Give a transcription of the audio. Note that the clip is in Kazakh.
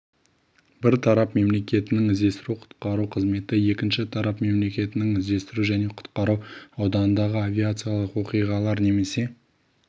бір тарап мемлекетінің іздестіру-құтқару қызметі екінші тарап мемлекетінің іздестіру және құтқару ауданындағы авиациялық оқиғалар немесе